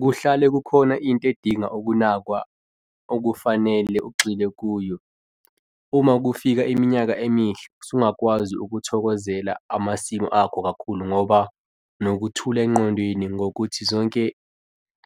Kuhlale kukhona into edinga ukunakwa okufanele ugxile kuyo. Uma kufika iminyaka emihle usungakwazi ukuthokozela amasimu akho kakhulu ngoba ungaba nokuthula engqondweni ngokuthi zonke